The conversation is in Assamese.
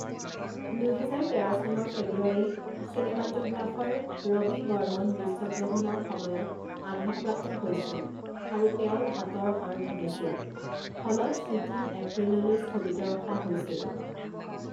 দুহেজাৰ তেৰ চনৰ ফেব্ৰুৱাৰীত, চিনেমাট'গ্ৰাফাৰ ৰবি বৰ্মন দৃশ্যগ্ৰহণৰ সময়ত আঘাতপ্ৰাপ্ত হৈছিল আৰু তেওঁৰ হাতৰ হাড় ভাঙিছিল, ফলত শ্বুটিং এপ্ৰিললৈ স্থগিত ৰখা হৈছিল।